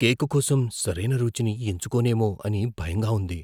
Cake కోసం సరైన రుచిని ఎంచుకోనేమో అని భయంగా ఉంది.